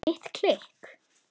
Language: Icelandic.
Mitt klikk?